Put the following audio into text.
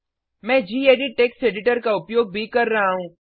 मैं gedit text editor का उपयोग भी कर रहा हूँ